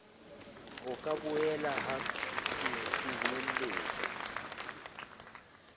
ho ka boelang ha kenyeletswa